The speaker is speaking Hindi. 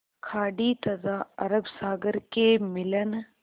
खाड़ी तथा अरब सागर के मिलन